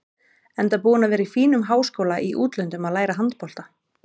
Enda búinn að vera í fínum háskóla í útlöndum að læra handbolta.